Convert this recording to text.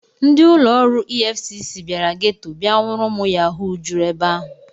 Ndị ụlọ ọrụ EFCC bịara geto bịa nwụrụ ụmụ Yahoo juru ebe ahụ.